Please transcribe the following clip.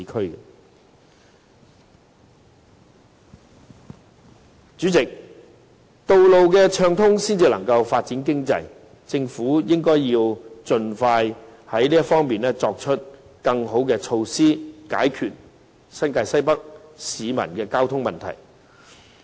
代理主席，道路暢通才可以發展經濟，政府應該盡快就此提出更好措施，解決新界西北市民的交通問題。